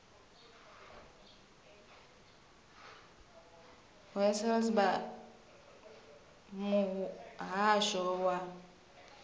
h wessels vha muhasho wa